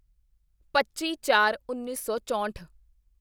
ਪੱਚੀਚਾਰਉੱਨੀ ਸੌ ਚੋਂਹਠ